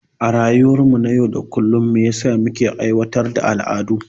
A rayuwar mu na yau da kullum me yasa muke aiwatar da al'adu?